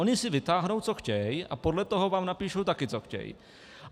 Oni si vytáhnou, co chtějí, a podle toho vám napíšou taky, co chtějí.